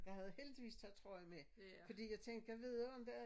Jeg havde heldigvis taget trøje med fordi jeg tænkte gad vide om der er